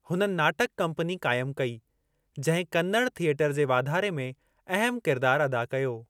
हुननि नाटक कंपनी क़ाइमु कई, जिंहिं कन्नड़ थिएटर जे वाधारे में अहम किरदार अदा कयो।